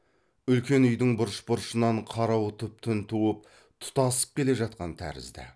үлкен үйдің бұрыш бұрышынан қарауытып түн туып тұтасып келе жатқан тәрізді